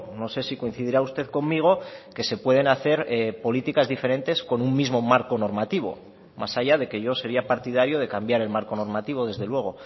no sé si coincidirá usted conmigo que se pueden hacer políticas diferentes con un mismo marco normativo más allá de que yo sería partidario de cambiar el marco normativo desde luego